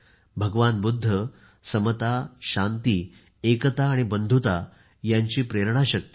भगवान बुद्ध समता शांती एकता आणि बंधुता यांची प्रेरणा शक्ती आहेत